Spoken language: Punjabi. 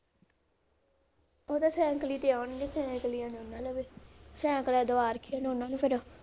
ਉਹ ਤਾਂ ਸੈਕਲੀ ਤੇ ਆਉਣਗੇ ਸੈਕਲੀਆਂ ਦੋਨਾਂ ਨੇ, ਸੈਂਕਲੇ ਦਵਾ ਰੱਖੇ ਨੇ ਓਹਨਾ ਨੂੰ ਫਿਰ।